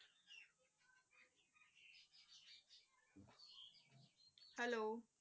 Hello